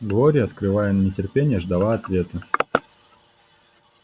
глория скрывая нетерпение ждала ответа